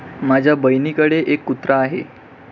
माझ्या बहिणीकडे एक कुत्रा आहे.